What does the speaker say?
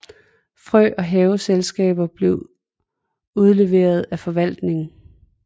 Frø og haveredskaber blev udleveret af forvaltningen